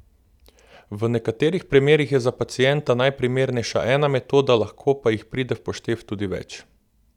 V nekaterih primerih je za pacienta najprimernejša ena metoda, lahko pa jih pride v poštev tudi več.